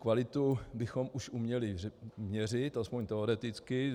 Kvalitu bychom už uměli měřit, aspoň teoreticky.